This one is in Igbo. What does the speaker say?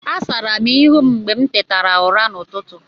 Asara m ihu m mgbe m tetere ụra n'ụtụtụ.